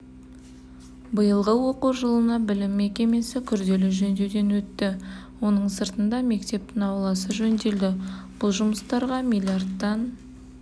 биылғы оқу жылына білім мекемесі күрделі жөндеуден өтті оның сыртында мектептің ауласы жөнделді бұл жұмыстарға миллиардтан